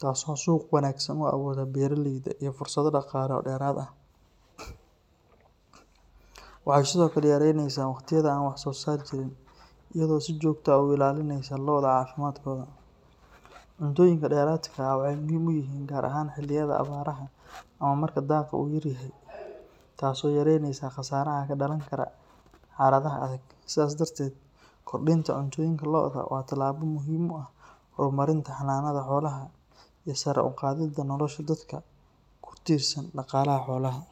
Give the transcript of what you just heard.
taasoo suuq wanaagsan u abuurta beeraleyda iyo fursado dhaqaale oo dheeraad ah. Waxay sidoo kale yaraynaysaa waqtiyada aan wax-soosaar jirin, iyadoo si joogto ah u ilaalinaysa lo’da caafimaadkooda. Cuntooyinka dheeraadka ah waxay muhiim u yihiin gaar ahaan xilliyada abaaraha ama marka daaqa uu yaryahay, taasoo yareynaysa khasaaraha ka dhalan kara xaaladaha adag. Sidaas darteed, kordhinta cuntooyinka lo’da waa tallaabo muhiim u ah horumarinta xanaanada xoolaha iyo sare u qaadidda nolosha dadka ku tiirsan dhaqaalaha xoolaha.